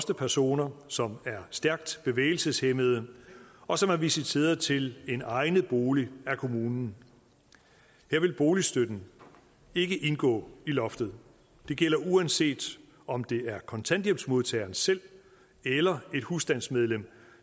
personer som er stærkt bevægelseshæmmede og som er visiteret til en egnet bolig af kommunen her vil boligstøtten ikke indgå i loftet det gælder uanset om det er kontanthjælpsmodtageren selv eller et husstandsmedlem